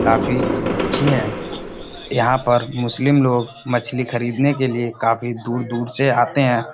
काफी अच्छी हैं। यहाँ पर मुस्लिम लोग मछली खरीदने के लिए काफी दूर-दूर से आते हैं।